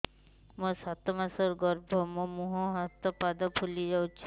ମୋ ସାତ ମାସର ଗର୍ଭ ମୋ ମୁହଁ ହାତ ପାଦ ଫୁଲି ଯାଉଛି